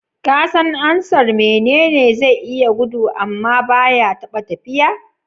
Kasan ansar "Mene ne zai iya gudu amma baya taɓa tafiya"?